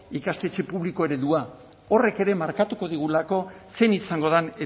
ikastetxe publiko eredua horrek ere markatuko digulako zein izango den